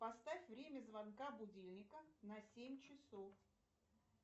поставь время звонка будильника на семь часов